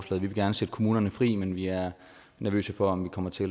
vil gerne sætte kommunerne fri men vi er nervøse for om vi kommer til